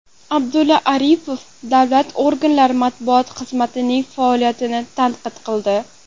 Abdulla Aripov davlat organlari matbuot xizmatlarining faoliyatini tanqid qildi.